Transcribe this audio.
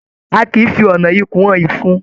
A kìí fí ọnà ikùn hàn ìfun.